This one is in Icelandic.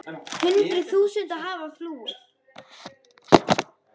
Hundruð þúsunda hafa flúið.